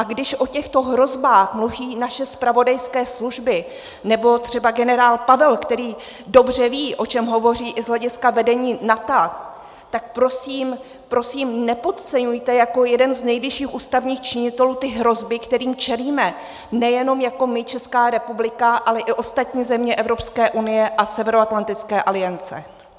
A když o těchto hrozbách mluví naše zpravodajské služby, nebo třeba generál Pavel, který dobře ví, o čem hovoří i z hlediska vedení NATO, tak prosím, prosím, nepodceňujte jako jeden z nejvyšších ústavních činitelů ty hrozby, kterým čelíme, nejenom jako my Česká republika, ale i ostatní země Evropské unie a Severoatlantické aliance.